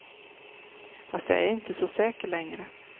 Fast jag är inte så säker längre.